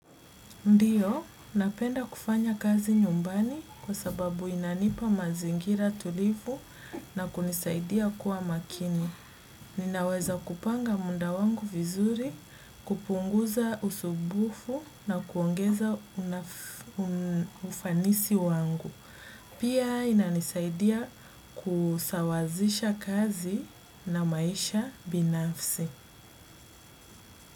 Ndio, napenda kufanya kazi nyumbani kwa sababu inanipa mazingira tulivu na kunisaidia kuwa makini. Ninaweza kupanga muda wangu vizuri, kupunguza usubufu na kuongeza ufanisi wangu. Pia inanisaidia kusawazisha kazi na maisha binafsi.